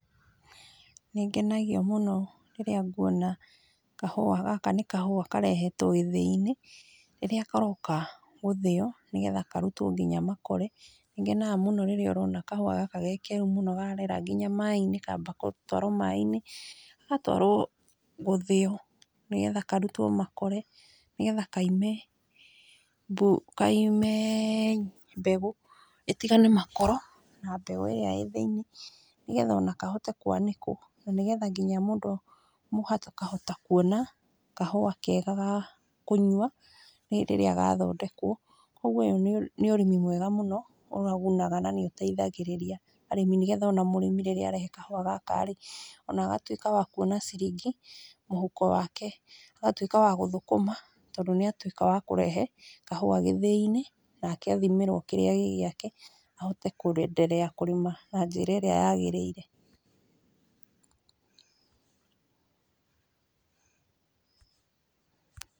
Nĩ ngenagio mũno rĩrĩa nguona kahũa gaka nĩ kahua karehetwo gĩthĩi-inĩ , rĩrĩa karoka gũthĩo, na karutwo nginya makore, nĩ ngenaga mũno rĩrĩa ũrona kahua gaka ge keru mũno, karera nginya maaĩ-in kamba gũtwarwo maaĩ-inĩ , gagatwarwo gũthĩo nĩgetha karutwo makore, nĩgetha kaime bũ kaime mbegũ itigane makoro na mbegũ iria ĩ thĩiniĩ ,nĩgetha ona kahote kwanĩkwo na nĩgetha nginya mũndũ akahota kuona kahua kega ga kũnyua hĩndĩ ĩrĩa gathondekwo, kũgwo ũyũ nĩ ũrĩmi mwega mũno, ũgunaga na nĩ ũteithagĩrĩria arĩmi, na nĩgetha rĩrĩa mũrĩmi arehe kahua gaka rĩ ona agatwĩka wa kuona ciringi mũhuko wake, agatwĩka wa gũthũkũma tondũ nĩ atwĩka wa kũrehe kahua gĩthĩi-inĩ, nake athimirwo kĩrĩa gĩ gĩake ahote kũenderea kũrima na njĩra ĩrĩa yagĩrĩire.